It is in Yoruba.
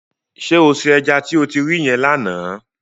Ṣé o se ẹja tí o ti ri yẹn lánàá?